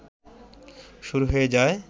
শুরু হয়ে যায়